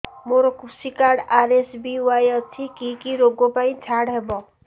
ମୋର କୃଷି card RSBY ଅଛି କି କି ଋଗ ପାଇଁ ଛାଡ଼ ହବ